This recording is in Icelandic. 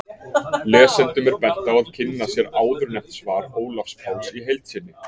Lesendum er bent á að kynna sér áðurnefnt svar Ólafs Páls í heild sinni.